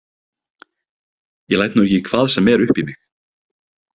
Ég læt nú ekki hvað sem er upp í mig.